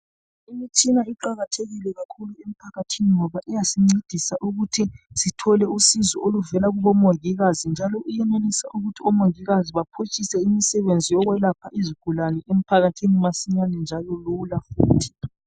Imitshina iqakathekile kakhulu emphakathini ngoba iyasincedisa ukuthi sithole usizo oluvela kubomongikazi njalo iyenelisa ukuthi omongikazi baphutshise imisebenzi yokwelapha izigulane emphakathini masinyane njalo lula futhi.